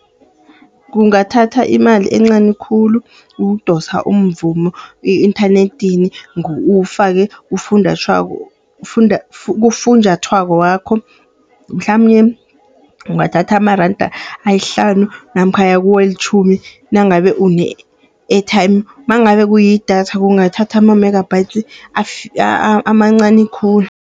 Kungathatha imali encani khulu, ukudosa umvumo e-inthanedini uwufake kufunjathwako wakho. Mhlamunye kungathatha amaranda amahlanu namkha aya kwelitjhumi nangabe une-airtime. Mangabe kuyidatha kungathatha amamegabhayidi amancani khulu.